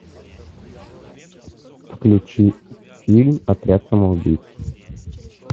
включи фильм отряд самоубийц